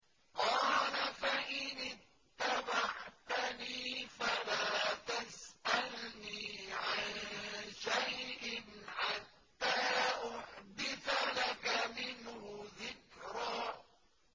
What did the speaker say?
قَالَ فَإِنِ اتَّبَعْتَنِي فَلَا تَسْأَلْنِي عَن شَيْءٍ حَتَّىٰ أُحْدِثَ لَكَ مِنْهُ ذِكْرًا